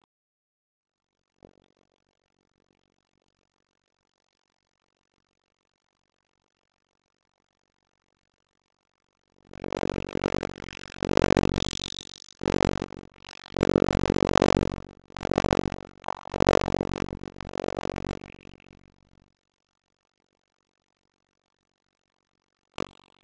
Eru fyrstu tölur komnar?